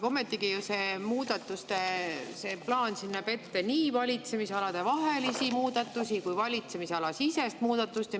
Ometigi see muudatuste plaan näeb ette nii valitsemisaladevahelisi muudatusi kui valitsemisalasiseseid muudatusi.